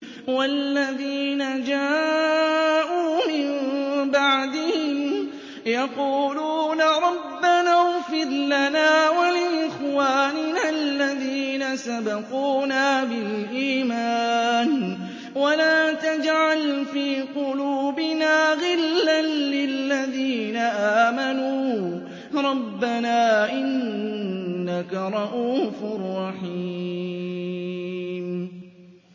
وَالَّذِينَ جَاءُوا مِن بَعْدِهِمْ يَقُولُونَ رَبَّنَا اغْفِرْ لَنَا وَلِإِخْوَانِنَا الَّذِينَ سَبَقُونَا بِالْإِيمَانِ وَلَا تَجْعَلْ فِي قُلُوبِنَا غِلًّا لِّلَّذِينَ آمَنُوا رَبَّنَا إِنَّكَ رَءُوفٌ رَّحِيمٌ